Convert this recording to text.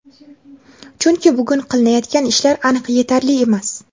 chunki "bugun qilinayotgan ishlar aniq yetarli emas".